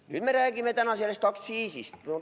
Nüüd me räägime täna sellest aktsiisist.